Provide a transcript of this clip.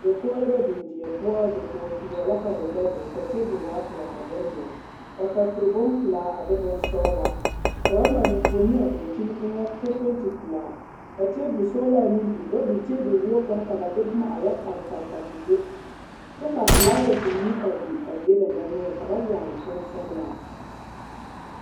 Dakogiri la biŋ die poɔ, dakogi peɛle la ka wegyɛ dɔɔle ka teebol waa pelaa ka bone dɔɔle ka kapuro bompelaa a de bonsɔgelaa ka ba mare enfuoni a dankyini eŋɛ kyɛ penti pelaa ka teebol sɔgelaa meŋ biŋ ka ba biŋ teebol wogi kaŋa la ba boma pare pare te do kyɛ ka filaawasi meŋ a biŋ a die dendɔnoɔre ka ba yagele pɛnsɔgelaa.